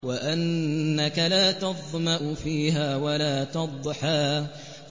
وَأَنَّكَ لَا تَظْمَأُ فِيهَا وَلَا تَضْحَىٰ